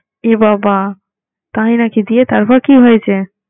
এবাবা! তাই নাকি দিয়ে তারপর কি হয়েছে?